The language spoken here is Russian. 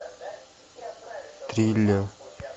триллер